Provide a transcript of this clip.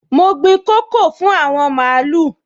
Mo gbin koko fún àwọn màlúù